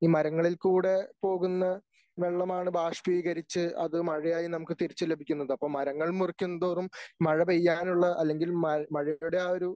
ഈ മരങ്ങളിൽ കൂടെ പോകുന്ന വെള്ളമാണ് ബാഷ്പീകരിച്ച് അത് മഴയായി നമുക്ക് തിരിച്ചു ലഭിക്കുന്നത് അപ്പോ മരങ്ങൾ മുറിക്കും തോറും മഴ പെയ്യാനുള്ള അല്ലെങ്കിൽ മഴയുടെ ആ ഒരു